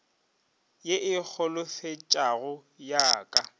ye e holofetšago ya ka